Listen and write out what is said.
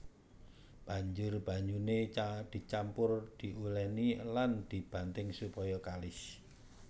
Banjur banyuné dicampur diulèni lan dibanting supaya kalis